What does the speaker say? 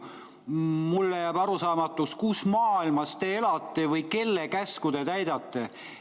Mulle jääb arusaamatuks, kus maailmas te elate või kelle käsku te täidate.